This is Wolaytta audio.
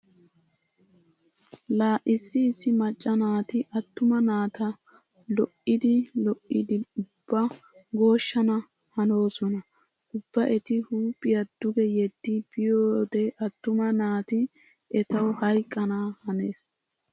Laa issi issi macca naati attuma naata lo'iiddi lo'iiddi ubba gooshshana hanoosona. Ubba eti huuphiya duge yeddi biyode attuma naati etawu hayqqana hanees.